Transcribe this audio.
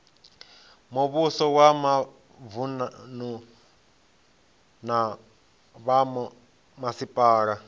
muvhuso wa mavunu na vhomasipala